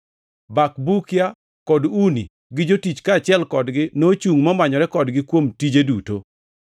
Bakbukia kod Uni, gi jotich kaachiel kodgi nochungʼ momanyore kodgi kuom tije duto.